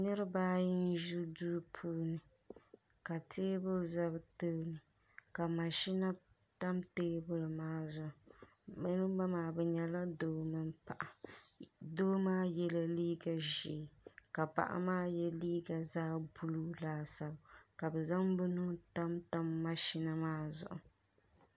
niriba ayi n-ʒi duu puuni ka teebuli za bɛ tooni ka mashina tam teebuli maa zuɣu niriba maa bɛ nyɛla doo mini paɣa doo maa yela liiga ʒee ka paɣa maa ye liiga buluu laasabu ka bɛ zaŋ bɛ nuu tam tam mashina maa zuɣu.